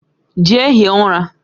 Jee hie ura